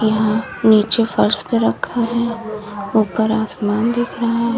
यहां नीचे फर्श पे रखा है ऊपर आसमान दिख रहा है।